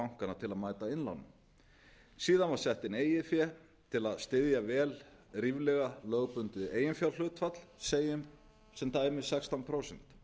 bankanna til að mæta innlánum síðan var sett inn eigið fé til að styðja vel ríflega lögbundið eiginfjárhlutfall segjum sem dæmi sextán prósent